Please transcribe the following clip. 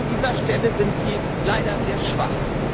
An dieser Stelle sind Sie leider sehr schwach.